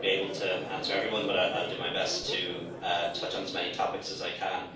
I mightn't be able to answer everyone but I'll do my best to touch on as many topics as I can.